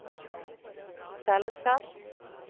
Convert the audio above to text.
fellesskaps